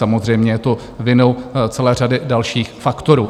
Samozřejmě je to vinou celé řady dalších faktorů.